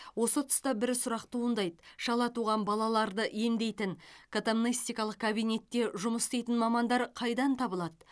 осы тұста бір сұрақ туындайды шала туған балаларды емдейтін катамнестикалық кабинетте жұмыс істейтін мамандар қайдан табылады